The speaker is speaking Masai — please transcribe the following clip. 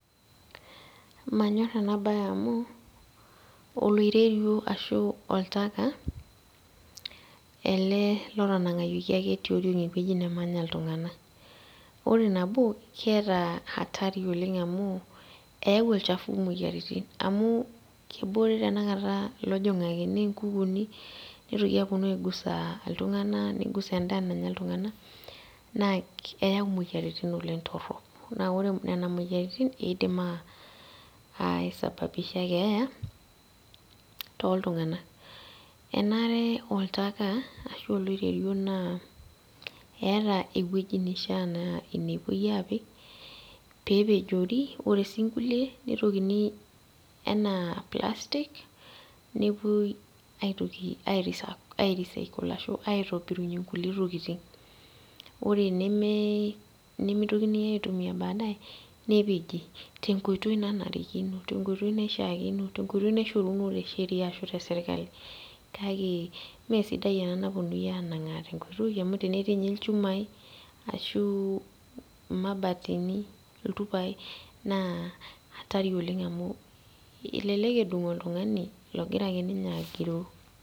Manyorr ena baye amu oloiterio oltaka ele lotanang'ayioki ake tioriong ewueji nemanya iltung'anak ore nabo keeta hatari oleng amu eyau olchafu imoyiaritin amu kebore tennakata ilojong'ak ene nkukuni nitoki aponu apuo aigusa iltung'anak nigusa endaa nanya iltung'anak naa keyau imoyiaritin oleng torrok naa ore nena moyiaritin eidim uh aesabababisha keeya toltung'anak enare oltaka ashu oloiterio naa eeta ewueji neishia naa ine epuoi apik pepejori ore sii nkuli nitokini enaa plastic nepuoi aitoki ae recycle ashu aitobirunyie nkulie tokiting ore neme nemitokini aitumia baadaye nepeji tenkoitoi nanarikino tenkoitoi naishiakino tenkoitoi naishoruno te sheria ashu te sirkali kake mesidai ena naponunui anang'aa tenkoitoi amu tenetii ninye ilchumai ashu imabatini iltupainaa atari oleng amu elelek edung oltung'ani logira akeninye agiroo.